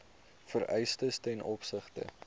vereistes ten opsigte